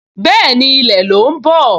Bẹ́ẹ̀ni, ilẹ̀ ló ń bọ̀